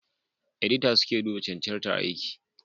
Edita suke duba cancantar aiki